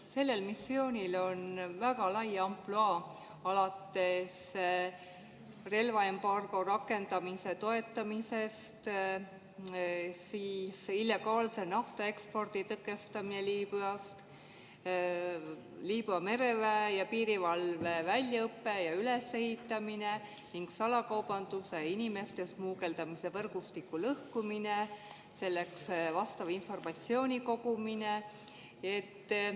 Sellel missioonil on väga lai ampluaa: relvaembargo rakendamise toetamine, illegaalse naftaekspordi tõkestamine Liibüas, Liibüa mereväe ja piirivalve väljaõpe ja ülesehitamine ning salakaubanduse ja inimeste smugeldamise võrgustike lõhkumine ja selleks informatsiooni kogumine.